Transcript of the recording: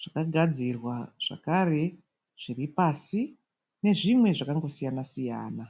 zvakagadzirwa zvakare zviri pasi, nezvimwe zvakangosiyana-siyana.